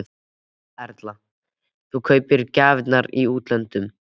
Erla: En þú kaupir gjafirnar í útlöndum?